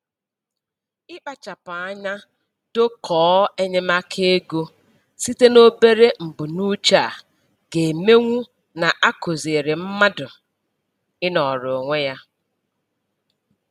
Ịkpachapụ anya dokọọ enyemaka ego site n'obere mbunuche a ga-emenwu na-akụziri mmadụ ịnọrọ onwe ya.